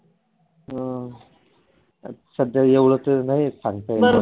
अं सध्या एवढ तरी नाही सांगता येणार